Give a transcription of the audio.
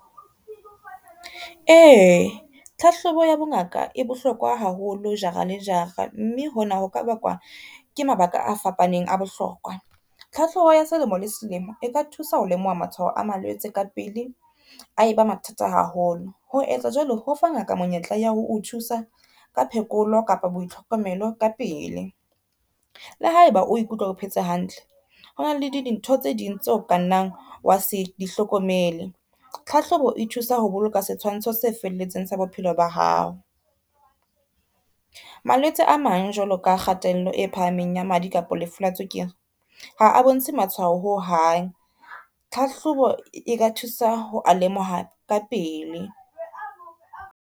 E, tlhahlobo ya bongaka e bohlokwa haholo jara le jara, mme hona ho ka bakwa ke mabaka a fapaneng a bohlokwa. Tlhahlobo ya selemo le selemo e ka thusa ho lemoha matshwaho a malwetse ka pele a eba mathata haholo. Ho etsa jwalo, ho fa ngaka monyetla ya ho o thusa ka phekolo kapa boitlhokomelo ka pele. Le ha e ba o ikutlwa o phetse hantle, ho na le dintho tse ding tseo kanang wa se di hlokomele. Tlhahlobo e thusa ho boloka setshwantsho se felletseng sa bophelo ba hao. Malwetse a mang jwalo ka kgatello e phahameng ya madi kapa lefu la tswekere ha a bontshe matshwao ho hang, tlhahlobo e ka thusa ho a lemoha ka pele.